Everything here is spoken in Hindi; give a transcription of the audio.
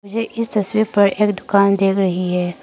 ये इस तस्वीर पर एक दुकान दिख रही हैं।